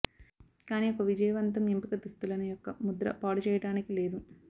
కానీ ఒక విజయవంతం ఎంపిక దుస్తులను యొక్క ముద్ర పాడుచేయటానికి లేదు